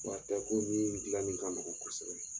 Fura tɛ ko min dilanni ka nɔgɔn kosɛbɛ.